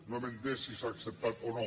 no hem entès si s’ha acceptat o no